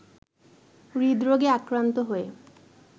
হৃদরোগে আক্রান্ত হয়ে